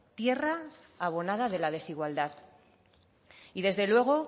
tierra abonada de la desigualdad y desde luego